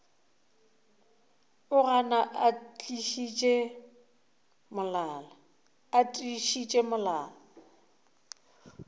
o gana a tiišitše molala